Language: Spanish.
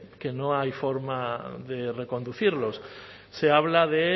que no hay forma de reconducirlos se habla de